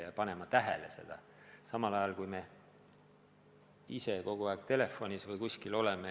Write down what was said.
Ja me peame silmas pidama ka seda, et me ei tohi ka ise kogu aeg telefoni näppida või muu ekraani ees olla.